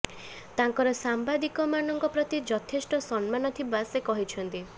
ତାଙ୍କର ସାମ୍ବାଦିକମାନଙ୍କ ପ୍ରତି ଯଥେଷ୍ଟ ସମ୍ମାନ ଥିବା ସେ କହିଛନ୍ତି